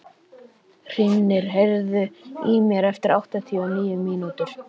Hrímnir, heyrðu í mér eftir áttatíu og níu mínútur.